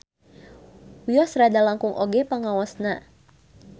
Wios rada langkung oge pangaosna.